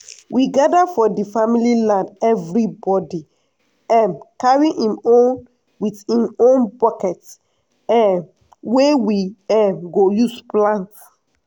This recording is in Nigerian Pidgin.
we gada for di family land evribodi um carry im hoe wit im own buket um wey we um go use plant.